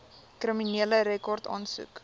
kriminele rekord aansoek